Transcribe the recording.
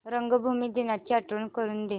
रंगभूमी दिनाची आठवण करून दे